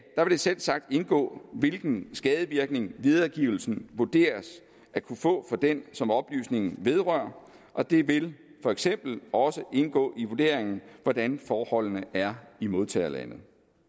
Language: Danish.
det selvsagt indgå hvilken skadevirkning videregivelsen vurderes at kunne få for den som oplysningens vedrører og det vil for eksempel også indgå i vurderingen hvordan forholdene er i modtagerlandet